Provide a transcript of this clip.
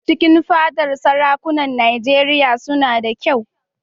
Cikin fadar sarakunan Nijeriya suna da kyau